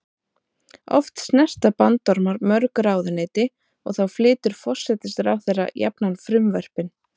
Oft snerta bandormar mörg ráðuneyti og þá flytur forsætisráðherra jafnan frumvörpin.